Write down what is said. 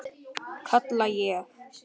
kalla ég.